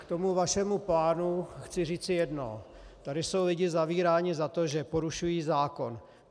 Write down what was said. K tomu vašemu plánu chci říci jedno, tady jsou lidé zavíráni za to, že porušují zákon.